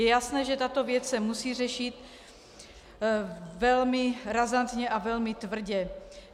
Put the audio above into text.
Je jasné, že tato věc se musí řešit velmi razantně a velmi tvrdě.